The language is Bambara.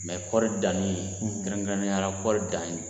ye kɔɔri danni, kɛrɛnkɛrɛnnenyala kɔɔri dan ye